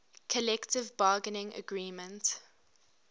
collective bargaining agreement